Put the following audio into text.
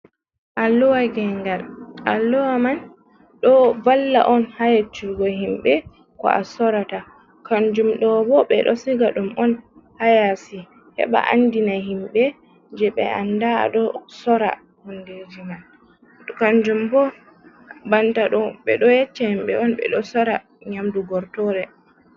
Alluwa nge'ngal, alluwa man ɗo valla on ha yacchugo himɓe ko a sorata. Kanjum ɗo bo ɓe ɗo siga dum on ha yasi heɓa andina himɓe je ɓe anda ado sora hondeji man. Kanjum bo, banta ɗo, ɓe ɗo yeccha himbe un ɓe ɗo sora nyamdu gortore.